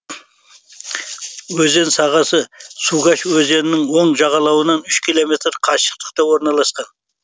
өзен сағасы сугаш өзенінің оң жағалауынан үш километр қашықтықта орналасқан